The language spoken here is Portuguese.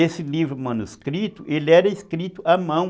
Esse livro manuscrito era escrito à mão.